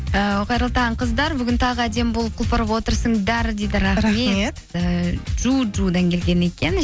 і қайырлы таң қыздар бүгін тағы әдемі болып құлпырып отырсыңдар дейді і джуджудан келген екен